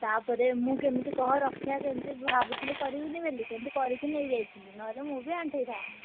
ତାପରେ ମୁଁ କେମିତି କହ ରକ୍ଷା କେମିତି ଭାବୁଥିଲି କରିବିନି ବୋଲି କିନ୍ତୁ କରିକି ନେଇଯାଇଥିଲି ନହେଲେ ମୁଁ ବି ଆଣ୍ଠେଇ ଥାନ୍ତି।